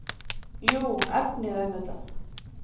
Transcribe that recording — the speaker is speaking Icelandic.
Jú, efnið auðvitað.